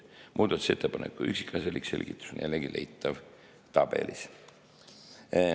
Muudatusettepaneku üksikasjalik selgitus on jällegi leitav tabelist.